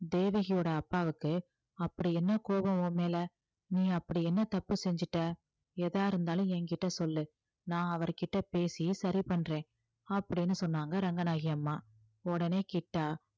தேவகியோட அப்பாவுக்கு அப்படி என்ன கோபம் உன் மேல நீ அப்படி என்ன தப்பு செஞ்சுட்ட எதா இருந்தாலும் என்கிட்ட சொல்லு நான் அவர் கிட்ட பேசி சரி பண்றேன் அப்படீன்னு சொன்னாங்க ரங்கநாயகி அம்மா உடனே கிட்டா